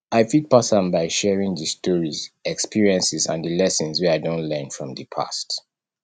i fit pass am by sharing di stories experiences and di lessons wey i don learn from di past